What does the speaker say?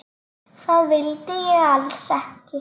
Það vildi ég alls ekki.